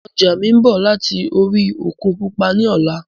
Ọjà mi ń bọ̀ láti orí òkun pupa ni ọ̀la